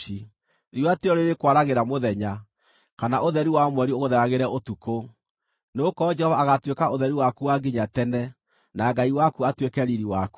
Riũa ti rĩo rĩrĩkwaragĩra mũthenya, kana ũtheri wa mweri ũgũtheragĩre ũtukũ, nĩgũkorwo Jehova agaatuĩka ũtheri waku wa nginya tene na Ngai waku atuĩke riiri waku.